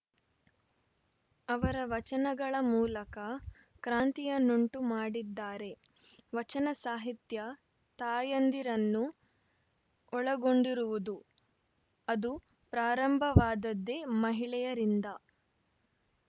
ಅವರ ವಚನಗಳ ಮೂಲಕ ಕ್ರಾಂತಿಯನ್ನುಂಟು ಮಾಡಿದ್ದಾರೆ ವಚನ ಸಾಹಿತ್ಯ ತಾಯಂದಿರನ್ನು ಒಳಗೊಂಡಿರುವುದು ಅದು ಪ್ರಾರಂಭವಾದದ್ದೇ ಮಹಿಳೆಯರಿಂದ